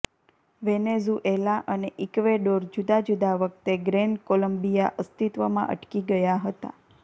Venezuela અને Ecuador જુદાં જુદાં વખતે ગ્રેન કોલમ્બિયા અસ્તિત્વમાં અટકી ગયા હતા